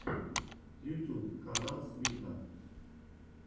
ютьюб канал свита